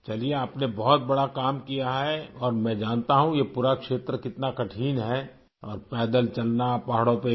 چلئے، آپ نے بہت بڑا کام کیا ہے اور میں جانتا ہوں، یہ پورا علاقہ کتنا مشکل ہے اور پیدل چلنا پہاڑوں پہ